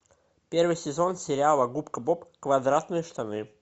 первый сезон сериала губка боб квадратные штаны